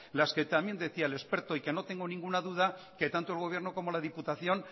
las que también decía el experto y que no tengo ninguna duda que tanto el gobierno como la diputación